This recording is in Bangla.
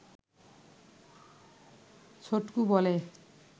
ছোটকু বলে